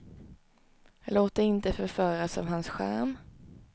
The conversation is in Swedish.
Låt dig inte förföras av hans charm.